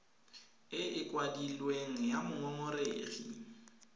e e kwadilweng ya mongongoregi